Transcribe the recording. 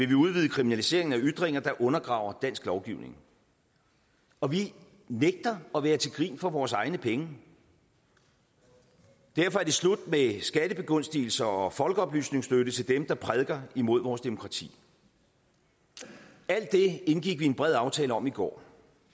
vi udvide kriminaliseringen af ytringer der undergraver dansk lovgivning og vi nægter at være til grin for vores egne penge derfor er det slut med skattebegunstigelser og folkeoplysningsstøtte til dem der prædiker imod vores demokrati alt det indgik vi en bred aftale om i går